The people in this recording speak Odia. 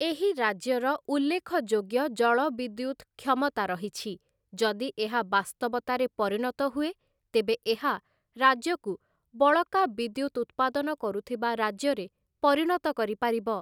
ଏହି ରାଜ୍ୟର ଉଲ୍ଲେଖଯୋଗ୍ୟ ଜଳବିଦ୍ୟୁତ୍‌ କ୍ଷମତା ରହିଛି, ଯଦି ଏହା ବାସ୍ତବତାରେ ପରିଣତ ହୁଏ ତେବେ ଏହା ରାଜ୍ୟକୁ ବଳକା ବିଦ୍ୟୁତ୍‌ ଉତ୍ପାଦନ କରୁଥିବା ରାଜ୍ୟରେ ପରିଣତ କରିପାରିବ ।